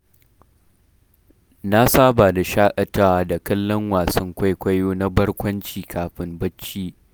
Na saba da shaƙatawa da kallon wasan kwaikwayo na barkwanci, kafin barci.